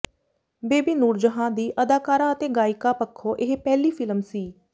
baby Noorjahan ਦੀ ਅਦਾਕਾਰਾ ਅਤੇ ਗਾਇਕਾ ਪੱਖੋਂ ਇਹ ਪਹਿਲੀ ਫ਼ਿਲਮ ਸੀ